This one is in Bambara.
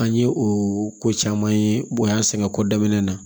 An ye o ko caman ye bonya sɛngɛ ko daminɛ na